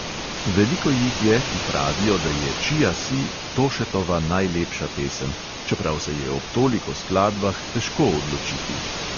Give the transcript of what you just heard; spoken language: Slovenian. Veliko jih je, ki pravijo, da je čija si tošetova najlepša pesem, čeprav se je ob toliko skladbah težko odločiti.